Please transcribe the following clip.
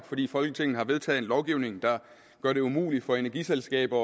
fordi folketinget har vedtaget en lovgivning der gør det umuligt for energiselskaber